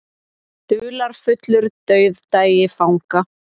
Dularfullur dauðdagi fanga